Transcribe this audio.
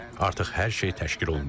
Artıq hər şey təşkil olunub.